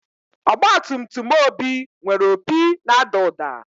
Ọgbatumtum Obi nwere opi na-ada ụda.